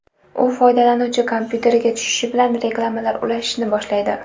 U foydalanuvchi kompyuteriga tushishi bilan reklamalar ulashishni boshlaydi.